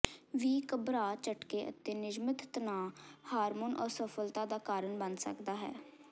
ਵੀ ਘਬਰਾ ਝਟਕੇ ਅਤੇ ਨਿਯਮਤ ਤਣਾਅ ਹਾਰਮੋਨ ਅਸਫਲਤਾ ਦਾ ਕਾਰਨ ਬਣ ਸਕਦਾ ਹੈ